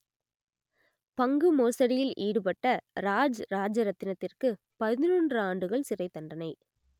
பங்கு மோசடியில் ஈடுபட்ட ராஜ் ராஜரத்தினத்திற்கு பதினொன்று ஆண்டுகள் சிறைத்தண்டனை